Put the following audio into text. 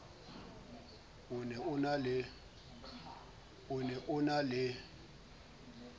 o ne o na le